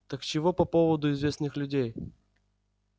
так чего по поводу известных людей